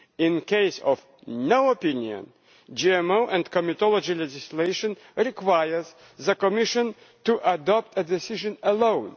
In case of no opinion, GMO and comitology legislation requires the Commission to adopt a decision alone.